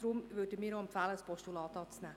Deshalb empfehlen wir, das Postulat anzunehmen.